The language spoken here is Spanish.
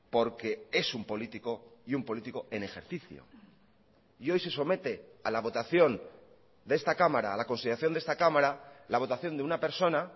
porque es un político y un político en ejercicio y hoy se somete a la votación de esta cámara a la consideración de esta cámara la votación de una persona